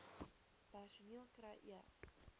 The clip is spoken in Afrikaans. personeel kry e